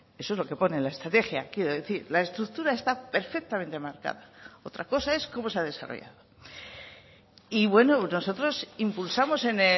eso es lo que pone en la estrategia quiero decir la estructura está perfectamente marcada otra cosa es cómo se ha desarrollado y bueno nosotros impulsamos en